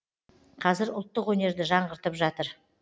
қазір ұлттық өнерді жаңғыртып жатыр